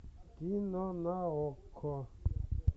кино на окко